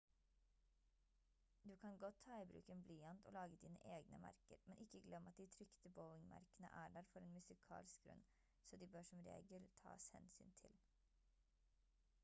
du kan godt ta i bruk en blyant og lage dine egne merker men ikke glem at de trykte bowing-merkene er der for en musikalsk grunn så de bør som regel tas hensyn til